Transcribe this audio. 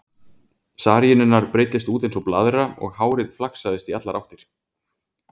Saríinn hennar breiddist út eins og blaðra og hárið flaksaðist í allar áttir.